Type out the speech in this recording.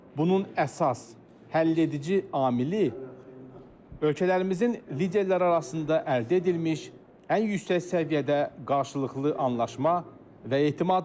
Bunun əsas, həlledici amili ölkələrimizin liderləri arasında əldə edilmiş ən yüksək səviyyədə qarşılıqlı anlaşma və etimaddır.